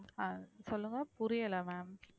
ஆஹ் சொல்லுங்க புரியலை ma'am